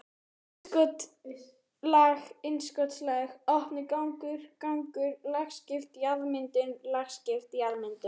innskotslag innskotslag opnur gangur gangur lagskipt jarðmyndun lagskipt jarðmyndun.